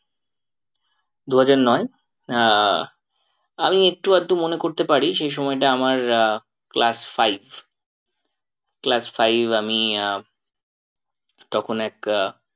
দুহাজার নয় আহ আমি একটু আধটু মনে করতে পারি সেই সময়টা আহ আমার class five class five আমি আহ তখন এক আহ